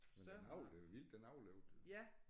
Men den havde det jo vildt den overlevede jo